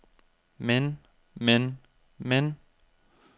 men men men